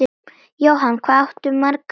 Jóhann: Hvað áttu margar ömmur?